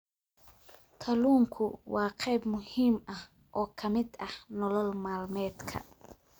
Kalluunku waa qayb muhiim ah oo ka mid ah nolol maalmeedka.